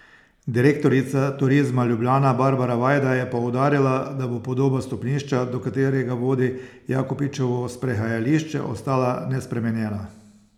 Direktorica Turizma Ljubljana Barbara Vajda je poudarila, da bo podoba stopnišča, do katerega vodi Jakopičevo sprehajališče, ostala nespremenjena.